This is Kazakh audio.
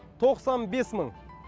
тоқсан бес мың